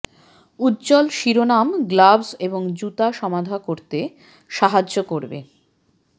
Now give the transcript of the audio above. উজ্জ্বল শিরোনাম গ্লাভস এবং জুতা সমাধা করতে সাহায্য করবে